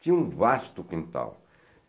Tinha um vasto quintal.